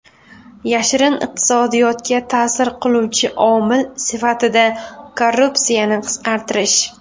Yashirin iqtisodiyotga ta’sir qiluvchi omil sifatida korrupsiyani qisqartirish.